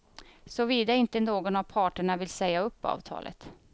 Såvida inte någon av parterna vill säga upp avtalet.